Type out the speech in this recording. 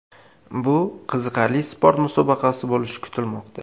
Bu qiziqarli sport musobaqasi bo‘lishi kutilmoqda.